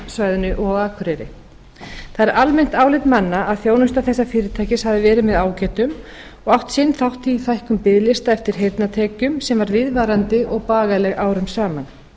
á höfuðborgarsvæðinu og akureyri það er almennt álit manna að þjónusta þessa fyrirtækis hafi verið með ágætum og átt sinn þátt í fækkun biðlista eftir heyrnartækjum sem var viðvarandi og bagaleg árum saman